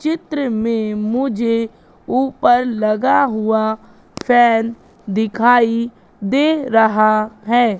चित्र में मुझे ऊपर लगा हुआ फैन दिखाई दे रहा है।